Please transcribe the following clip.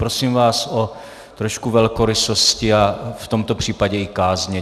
Prosím vás o trošku velkorysosti a v tomto případě i kázně.